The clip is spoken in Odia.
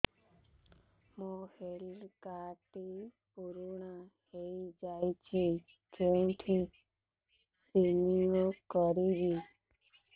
ମୋ ହେଲ୍ଥ କାର୍ଡ ଟି ପୁରୁଣା ହେଇଯାଇଛି କେଉଁଠି ରିନିଉ କରିବି